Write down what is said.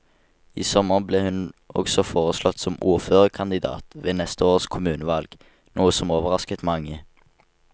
I sommer ble hun også foreslått som ordførerkandidat ved neste års kommunevalg, noe som overrasket mange.